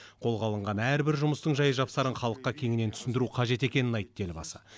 қолға алынған әрбір жұмыстың жай жапсарын халыққа кеңінен түсіндіру қажет екенін айтты елбасы